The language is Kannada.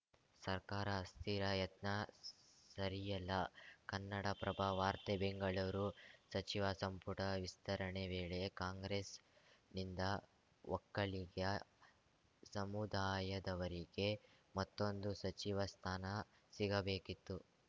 ಸರ್ಕಾರ ಅಸ್ಥಿರ ಯತ್ನ ಸರಿಯಲ್ಲ ಕನ್ನಡಪ್ರಭ ವಾರ್ತೆ ಬೆಂಗಳೂರು ಸಚಿವ ಸಂಪುಟ ವಿಸ್ತರಣೆ ವೇಳೆ ಕಾಂಗ್ರೆಸ್‌ನಿಂದ ಒಕ್ಕಲಿಗ ಸಮುದಾಯದವರಿಗೆ ಮತ್ತೊಂದು ಸಚಿವ ಸ್ಥಾನ ಸಿಗಬೇಕಿತ್ತು